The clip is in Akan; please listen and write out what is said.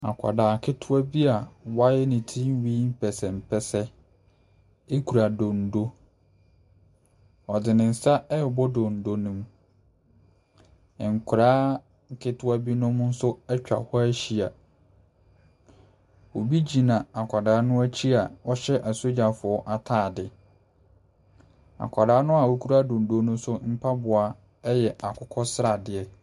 Akwadaa ketewa bia wayɛ ne tirenwi mpɛsempɛse ɛkura dondo ɔdi ne nsa ɛbɔ dondo no mu nkwadaa ketewa bi nom nso ɛtwa hɔ ɛhyɛa ɔbi gyina akwadaa no akyi ɔhyɛ a soldier fɔ ataadeɛ akwadaa noa ɔkura dondo nso mpaboa no yɛ akokɔ sradeɛ.